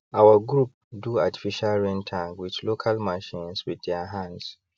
our group do artificial rain tank with local machines with their hands